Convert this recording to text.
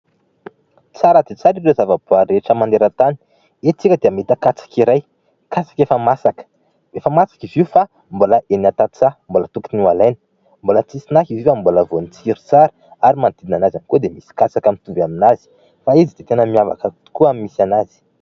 Tsara dia tsara ireo zava-boary rehetra maneran-tany. Eto isika dia mahita katsaka iray, katsaka efa masaka. Efa masaka izy io fa mbola eny an-tantsaha . mbola tokony ho alaina Mbola tsisy naka izy io fa mbola vao mitsiry tsara ary manodidinana azy avokoa dia misy katsaka mitovy amin'azy fa izy dia tena miavaka tokoa amin'ny misy an'azy.